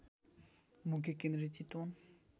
मुख्य केन्द्रीय चितवन